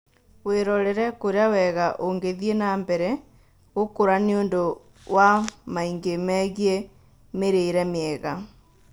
Wĩrorere kũrĩa wega ũgĩthiĩ na mbere na gũkũra nĩũndũ wa maingĩ megiĩ mĩrĩre mĩega